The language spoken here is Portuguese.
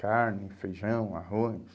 carne, feijão, arroz.